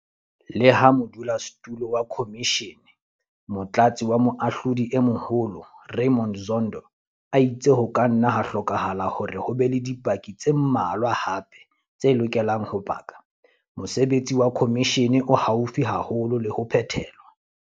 Leha modulasetulo wa khomishene, Motlatsi wa Moahlodi e Moholo Raymond Zondo a itse ho ka nna ha hlokahala hore ho be le dipaki tse mmalwa hape tse lokelang ho paka, mosebetsi wa khomishene jwale o haufi haholo le ho phethelwa.